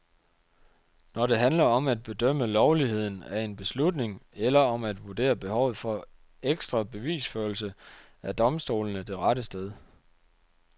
Når det handler om at bedømme lovligheden af en beslutning, eller om at vurdere behovet for ekstra bevisførelse, er domstolene det rette sted.